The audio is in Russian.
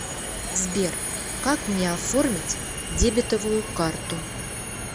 сбер как мне оформить дебетовую карту